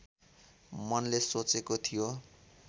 मनले सोचेको थियो